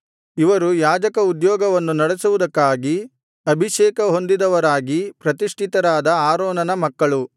ಇವರು ಯಾಜಕ ಉದ್ಯೋಗವನ್ನು ನಡೆಸುವುದಕ್ಕಾಗಿ ಅಭಿಷೇಕಹೊಂದಿದವರಾಗಿ ಪ್ರತಿಷ್ಠಿತರಾದ ಆರೋನನ ಮಕ್ಕಳು